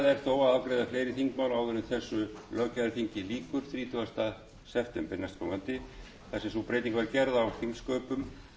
fleiri þingmál áður en þessu löggjafarþingi lýkur þrítugasta september næstkomandi þar sem sú breyting var gerð á þingsköpum